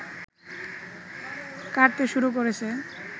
কাটতে শুরু করেছে